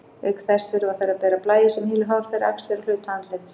Auk þess þurfa þær að bera blæju sem hylur hár þeirra, axlir og hluta andlits.